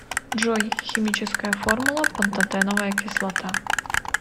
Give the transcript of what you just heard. джой химическая формула пантотеновая кислота